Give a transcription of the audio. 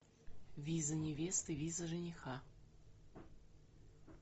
виза невесты виза жениха